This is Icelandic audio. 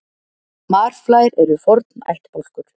marflær eru forn ættbálkur